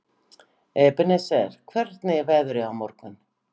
Ebeneser, hvernig er veðrið á morgun?